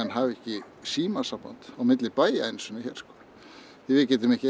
hafi ekki símasamband á milli bæja einu sinni hér því við getum ekki